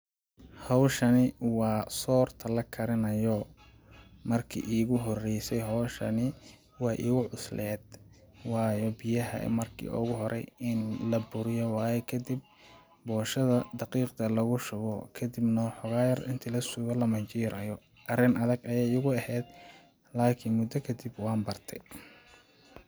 Hawshani waa soorta la karinayo ,marki iigu horeyse hawshani weey igu cusleed waayo biyaha marki oogu horay ini la buriyo waaye kadib booshada daqiiqda lagu shubo, kadibna wa xigaa yar inti la sugo la majiirayo ,arrin adag ayeey igu aheed laakin mudda kadib waan barte.